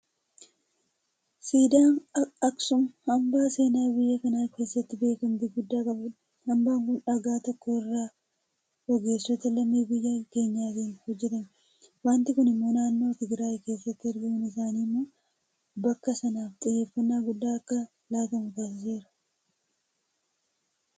Siidaan Aksuum hambaa seenaa biyya kana keessatti beekamtii guddaa qabudha. Hambaan kun dhagaa tokko irraa ogeessota lammii biyya keenyaatiin hojjetame. Waanti kun immoo naannoo Tigiraay keessatti argamuun isaa immoo bakka sanaaf xiyyeeffannaa guddaan akka laatamu taasiseera.